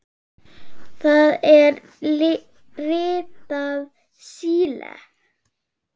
Það er ritað Síle.